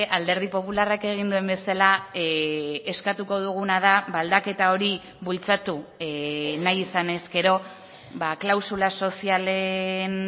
alderdi popularrak egin duen bezala eskatuko duguna da aldaketa hori bultzatu nahi izan ezkero klausula sozialen